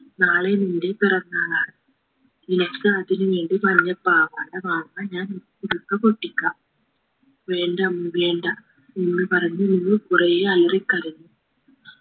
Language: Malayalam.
നാളെ നിന്റെ പിറന്നാളാണ് നിനക്ക് അതിനു വേണ്ടി മഞ്ഞ പാവാട വാങ്ങാൻ ഞാൻ കുടുക്ക പൊട്ടിക്കാം വേണ്ടമ്മേ വേണ്ട എന്ന് പറഞ്ഞിരുന്നു കുറേയലരി കരഞ്ഞു